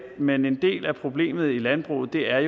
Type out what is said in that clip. men en del af problemet i landbruget er